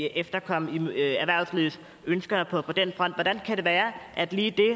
efterkomme erhvervslivets ønsker på den front hvordan kan det være at lige